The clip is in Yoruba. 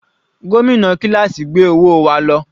Gómìnà kíláásì gbé owó wa lọ.